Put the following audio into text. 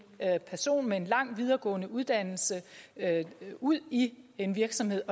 person med en lang videregående uddannelse ud i en virksomhed